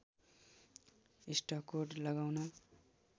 इस्टकोट लगाउन